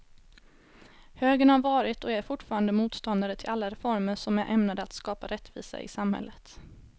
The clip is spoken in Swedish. Högern har varit och är fortfarande motståndare till alla reformer som är ämnade att skapa rättvisa i samhället.